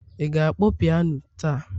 ị ga-akpọ piano taa?